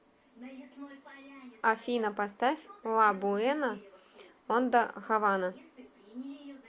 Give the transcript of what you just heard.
афина поставь ла буэна онда хавана